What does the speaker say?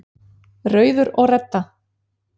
Rauður og Redda,